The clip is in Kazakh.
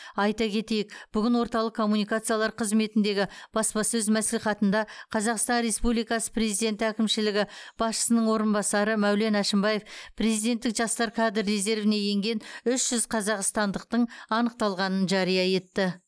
айта кетейік бүгін орталық коммуникациялар қызметіндегі баспасөз мәслихатында қазақстан республикасы президенті әкімшілігі басшысының орынбасары мәулен әшімбаев президенттік жастар кадр резервіне енген үш жүз қазақстандықтың анықталғанын жария етті